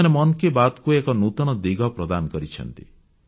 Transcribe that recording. ସେମାନେ ମନ୍ କି ବାତ୍ କୁ ଏକ ନୂତନ ଦିଗ ପ୍ରଦାନ କରିଛନ୍ତି